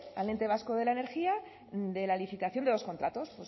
el ente vasco de la energía de la licitación de los contratos